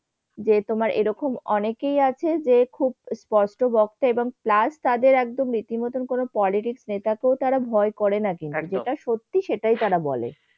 যে তোমার অনেকেই আছে যে খুব, বড্ড বখছে এবং plus তাদের একদম রিতিমত কোন politic নেয়। তারপরেও তার ভয় করে না যেটা সত্যটি সেটাই তারা বলে।